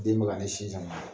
Den bɛ ka ne sin sama